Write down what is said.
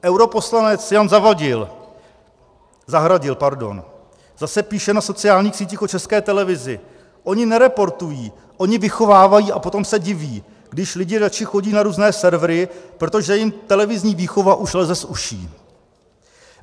Europoslanec Jan Zahradil zase píše na sociálních sítích o České televizi - oni nereportují, oni vychovávají a potom se diví, když lidi radši chodí na různé servery, protože jim televizní výchova už leze z uší.